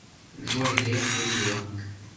джой греф мудила